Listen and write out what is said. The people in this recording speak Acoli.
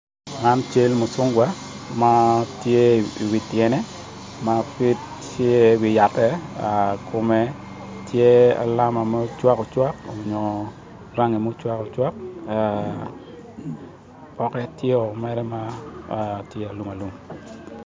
Man cal mucungwa ma tye i wi tyene ma pe tye i wi yatte kume tye alama ma ocwak ocwak nyo rangi mucwak ocwak pokke tyeo mwere ma alum alum